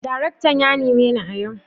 daraktan yanime ni a yau?